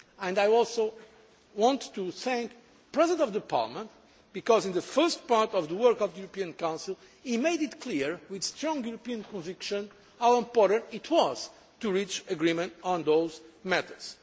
again. I also want to thank the President of Parliament because, in the first part of the work of the European Council, he made it clear with strong European conviction how important it was to reach agreement on those matters.